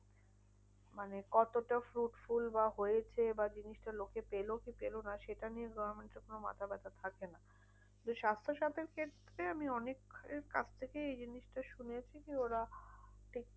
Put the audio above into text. মানে কতটা fruitful বা হয়েছে বা জিনিসটা লোকে পেলো কি পেলো না? সেটা নিয়ে government এর কোনো মাথা ব্যাথা থাকে না। তো স্বাস্থ্যসাথীর case তে আমি অনেকের কাছ থেকেই এই জিনিসটা শুনেছি যে ওরা ঠিক